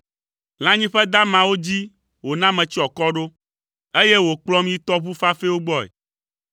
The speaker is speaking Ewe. Lãnyiƒe damawo dzi wòna metsyɔ akɔ ɖo, eye wòkplɔm yi tɔʋu fafɛwo gbɔe,